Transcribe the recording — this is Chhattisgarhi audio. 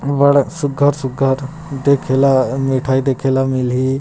बड़ा सुगध सुगध देखेला मिठाई देखेला मिली --